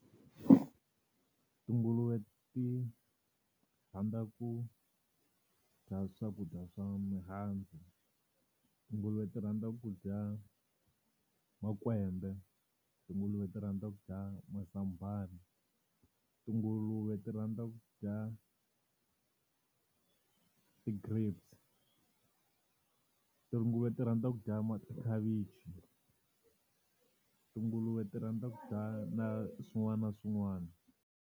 Tinguluve ti rhandza ku dya swakudya swa mihandzu, tinguluve ti rhandza ku dya makwembe, tinguluve ti rhandza ku dya mazambhana, tinguluve ti rhandza ku dya ti-grapes. Tinguluve ti rhandza ku dya tikhavichi, tinguluve ti rhandza ku dya na swin'wana na swin'wana.